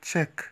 Check